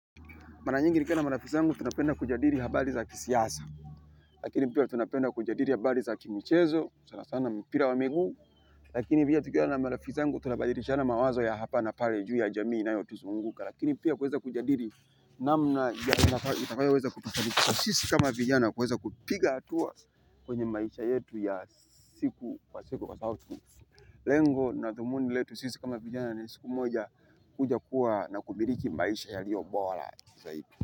Mara nyingi ni kiwa na marafiki sangu tunapenda kujadiri habari za kisiyasa. Lakini pia tunapenda kujadiri habari za kimichezo. Sana sana mpira wa miguu. Lakini via tukiwa na marafiki sangu tunabadirishana mawazo ya hapa na pale juu ya jamii inayotusunguka. Lakini pia kuweza kujadiri namna ya inafaa iweze kutusaidia. Sisi kama vijana kuweza kupiga atuwa kwenye maisha yetu ya siku kwa siku kwa saabu. Lengo na thumuni letu sisi kama vijana ni siku moja kuja kuwa na kumiriki maisha ya lio bola. Kwa hivyo, kwa hivyo.